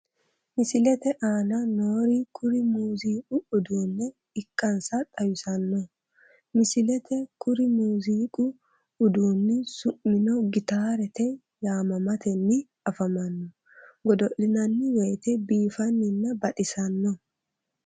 Misilete aana noori kuri muuziiqu uduunne ikkansa xawissanno misileeti kuri muuziiqu uduunni su'mino gitaarrate yaamamatenni afamanno godo'linanni woyte biifannina baxissanno.